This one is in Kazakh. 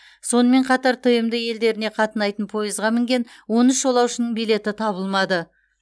сонымен қатар тмд елдеріне қатынайтын пойызға мінген он үш жолаушының билеті табылмады